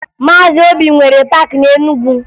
Maazị Obi nwere paakị na Enugu